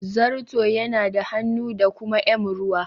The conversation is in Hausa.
Zato yana da hannu da kuma m ruwa.